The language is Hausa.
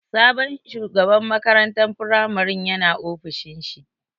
Sabon shugaban makarantan firamarin ya na ofishin shi